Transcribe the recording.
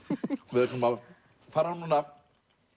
við ætlum að fara núna